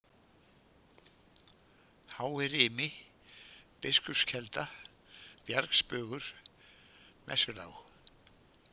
Háirimi, Biskupskelda, Bjargsbugur, Messulág